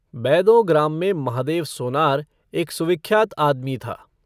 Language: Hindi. बैदों ग्राम में महादेव सोनार एक सुविख्यात आदमी था।